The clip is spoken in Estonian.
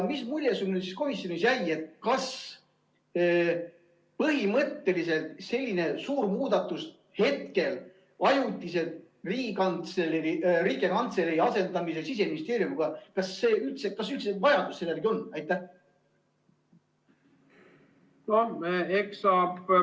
Mis mulje sulle komisjonis jäi, põhimõtteliselt selline suur muudatus, hetkel ajutiselt Siseministeeriumi asendamine Riigikantseleiga, kas selle järele üldse on vajadus?